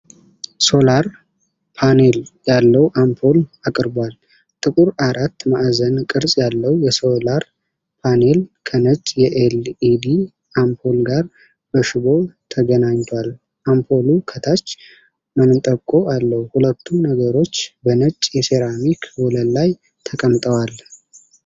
ሶላር ፓኔል ያለው አምፖል አቅርቧል። ጥቁር አራት ማዕዘን ቅርፅ ያለው የሶላር ፓኔል ከነጭ የኤል-ኢ-ዲ አምፖል ጋር በሽቦ ተገናኝቷል። አምፖሉ ከታች መንጠቆ አለው። ሁለቱም ነገሮች በነጭ የሴራሚክ ወለል ላይ ተቀምጠዋል።